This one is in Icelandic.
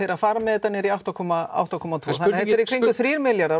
að fara með þetta niður í átta komma átta komma tvö sem eru í kringum þrír milljarðar